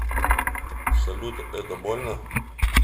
салют это больно